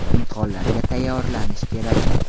Imtihonlarga tayyorlanish kerak.